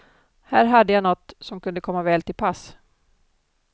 Här hade jag något, som kunde komma väl till pass.